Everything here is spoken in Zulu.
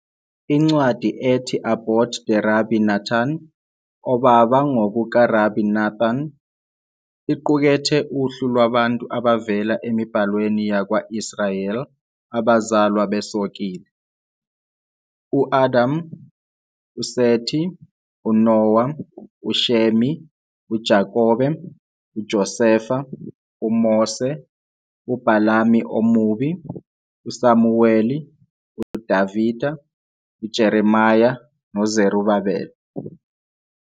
Incwadi ethi Abot De-Rabbi Natan, Obaba NgokukaRabi Nathan, iqukethe uhlu lwabantu abavela emiBhalweni yakwa-Israyeli "abazalwa besokile"- U-Adam, uSeti, uNowa, uShemi, uJakobe, uJoseph, uMose, uBhalami omubi, uSamuweli, David, Jeremiah noZerubabele.